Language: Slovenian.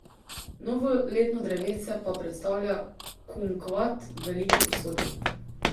Novoletno drevesce pa predstavlja kumkvat v veliki posodi.